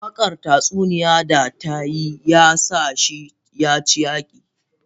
Wakar tatsuniya da ta yi ya sa shi ya ci yaki.